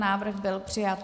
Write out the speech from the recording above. Návrh byl přijat.